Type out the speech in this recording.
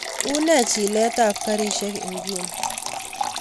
Unee chilet ab karishek ingunii